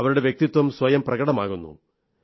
അവരുടെ വ്യക്തിത്വം സ്വയം പ്രകടമാകുന്നു